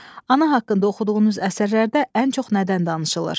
Ana haqqında oxuduğunuz əsərlərdə ən çox nədən danışılır?